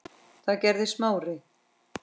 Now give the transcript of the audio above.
Það gerði Smári.